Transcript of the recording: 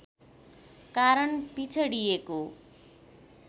कारण पिछडिएको